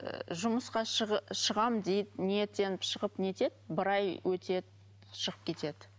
ыыы жұмысқа шығамын деп ниеттеніп шығып нетеді бір ай өтеді шығып кетеді